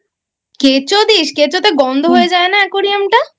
কেঁচো দিস? কেঁচো তে গন্ধ হয়ে যায় না Aquarium টা ?